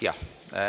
Jah.